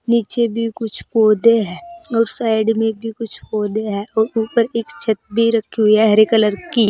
नीचे भी कुछ पौधे हैं और साइड में भी कुछ पौधे है और ऊपर एक छत भी रखी हुई है हरे कलर की।